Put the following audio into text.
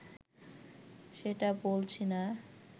সেটা বলছি না